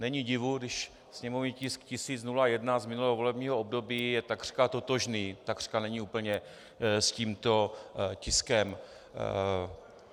Není divu, když sněmovní tisk 1001 z minulého volebního období je takřka totožný - takřka, není úplně - s tímto tiskem.